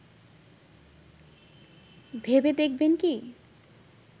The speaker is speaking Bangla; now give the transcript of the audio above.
ভেবে দেখবেন কি